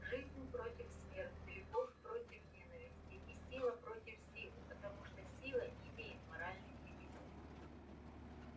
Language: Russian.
жизнь против смерти любовь против ненависти и сила против силы потому что сила не имеет моральных категорий